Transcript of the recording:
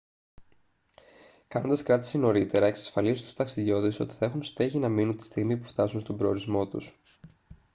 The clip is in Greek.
κάνοντας κράτηση νωρίτερα εξασφαλίζει στους ταξιδιώτες ότι θα έχουν στέγη να μείνουν τη στιγμή που φτάσουν στον προορισμό τους